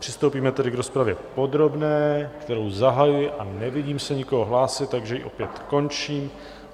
Přistoupíme tedy k rozpravě podrobné, kterou zahajuji, a nevidím se nikoho hlásit, takže ji opět končím.